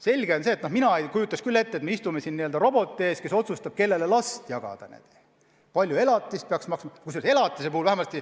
Selge see – mina ei kujuta küll ette, et me istume roboti ees, kes otsustab, kellele laps anda ja kui palju elatisraha peaks maksma.